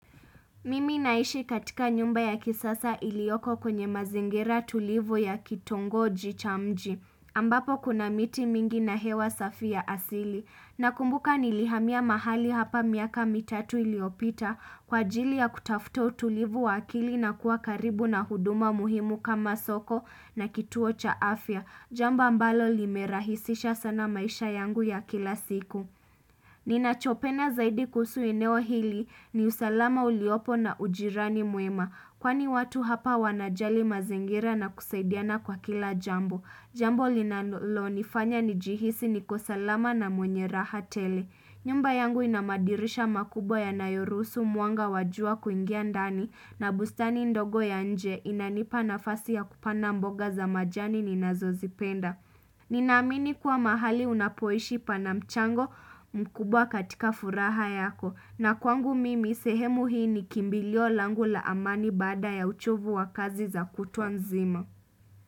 Mimi naishi katika nyumba ya kisasa ilioko kwenye mazingira tulivu ya kitongoji cha mji. Ahk ambapo kuna miti mingi na hewa safi ya asili. Hhn Nakumbuka nilihamiya mahali hapa miaka mitatu iliopita kwa jili ya kutafuto utulivu wa akili na kuwa karibu na huduma muhimu kama soko na kituo cha afya. Hhh Jamba mbalo limerahisisha sana maisha yangu ya kila siku. Mhh hh Ninachopena zaidi kuhusu enewo hili ni usalama uliopo na ujirani mwema kwani watu hapa wanajali mazingira na kusaidiana kwa kila jambo. Hhhk Jambo linanolo nifanya nijihisi nikosalama na mwenye raha tele. Hhh nyumba yangu inamadirisha makubwa yanayorusu mwanga wajua kuingia ndani na bustani ndogo ya nje inanipa nafasi ya kupanda mboga za majani ninazozipenda. Ninamini kua mahali unapoishi panamchango mkubwa katika furaha yako na kwangu mimi sehemu hii ni kimbilio langu la amani baada ya uchovu wa kazi za kutua nzima.